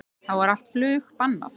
Þá er allt flug bannað